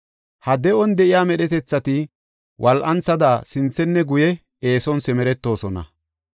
Ha de7on de7iya medhetethati wol7anthada sinthenne guye eeson simeretoosona.